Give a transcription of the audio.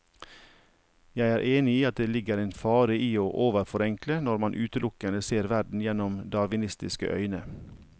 Jeg er enig i at det ligger en fare i å overforenkle når man utelukkende ser verden gjennom darwinistiske øyne.